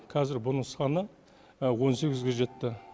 қазір бұның саны он сегізге жетті